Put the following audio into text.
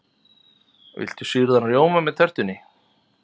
Viltu sýrðan rjóma með tertunni?